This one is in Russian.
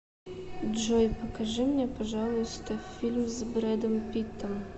джой покажи мне пожалуйста фильм с бредом питтом